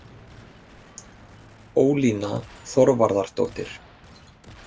Ólína Þorvarðardóttir.